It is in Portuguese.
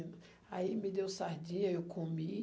Aí, me deu sardinha, eu comi.